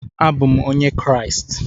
Abụ m onye Kraịst